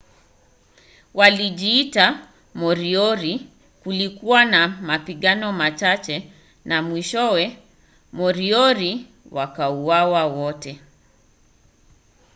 walijiita moriori kulikuwa na mapigano machache na mwishowe moriori wakauawa wote